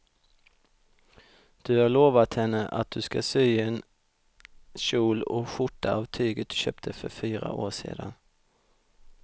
Du har lovat henne att du ska sy en kjol och skjorta av tyget du köpte för fyra år sedan.